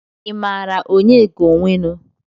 I maara Onyeka Owenu?